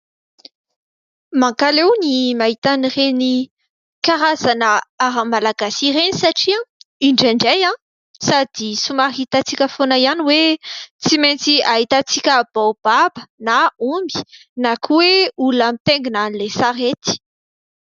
Mankaleo ny mahita ireny karazana ara-malagasy ireny satria indraindray sady somary hitantsika foana ihany hoe tsy maintsy ahitantsika baobab na omby na koa hoe olona mitaingina ilay sarety.